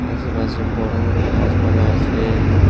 আশেপাশে বড় বড় গাছপালা আছে।